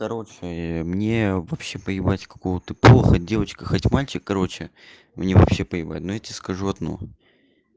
короче мне вообще поебать какого ты пола хоть девочка хоть мальчик короче мне вообще поебать но я тебе скажу одно